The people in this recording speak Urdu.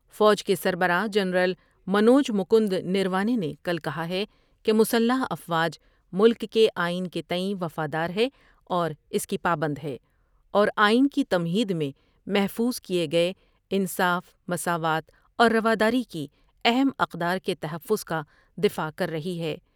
فوج کے سربراہ جنرل منوج مکند نروانے نے کل کہا ہے کہ مسلح افواج ملک کے آئین کے تئیں وفادار ہے اور اس کی پابند ہے اور آئین کی تمہید میں محفوظ کئے گئے انصاف مساوات اور روداری کی اہم اقدار کے تحفظ کا دفاع کر رہی ہے ۔